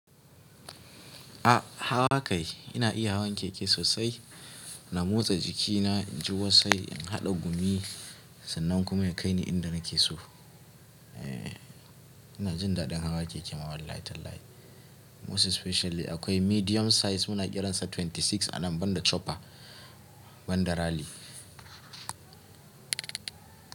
A, hawa kai ina iya hawan keke sosai. Na motsa jikina, in ji wasai, in haɗa gumi sannan kuma ya kai ni inda nake so. Eee, ina jin daɗin hawa keke wallahi tallahi. Most especially akwai medium size muna kiransa 26 a nan banda chopper banda rally.